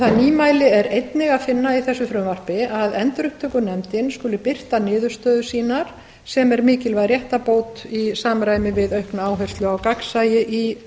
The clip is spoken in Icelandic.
það nýmæli er einnig að finna í þessu frumvarpi að endurupptökunefnd skuli birta niðurstöður sínar sem er mikilvæg réttarbót í samræmi við aukna áherslu á gagnsæi í